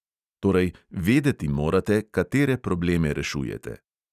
Torej, vedeti morate, katere probleme rešujete.